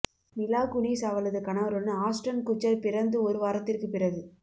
மிலா Kunis அவளது கணவருடன் Ashton Kutcher பிறந்து ஒரு வாரத்திற்கு பிறகு